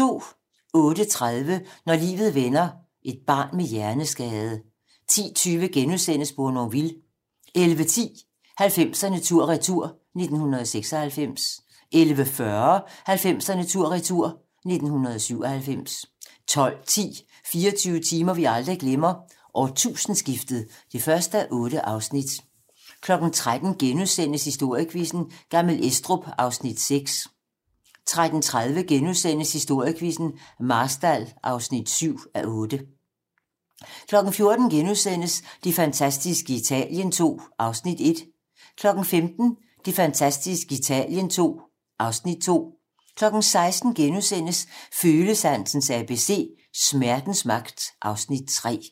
08:30: Når livet vender: Et barn med hjerneskade 10:20: Bournonville * 11:10: 90'erne tur-retur: 1996 11:40: 90'erne tur-retur: 1997 12:10: 24 timer, vi aldrig glemmer: Årtusindeskiftet (1:8) 13:00: Historiequizzen: Gammel Estrup (6:8)* 13:30: Historiequizzen: Marstal (7:8)* 14:00: Det fantastiske Italien II (Afs. 1)* 15:00: Det fantastiske Italien II (Afs. 2) 16:00: Følesansens ABC - Smertens magt (Afs. 3)*